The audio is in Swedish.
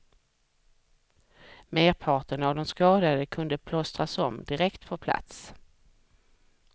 Merparten av de skadade kunde plåstras om direkt på plats.